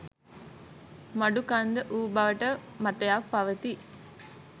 මඩුකන්ද වූ බවට මතයක් පවතී